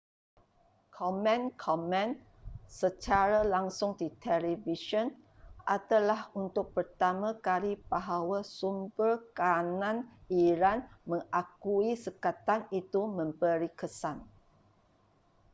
komen-komen secara langsung di televisyen adalah untuk pertama kali bahawa sumber kanan iran mengakui sekatan itu memberi kesan